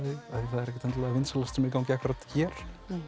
vinsælasta sem er í gangi akkúrat hér